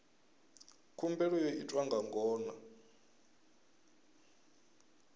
khumbelo yo itwa nga ngona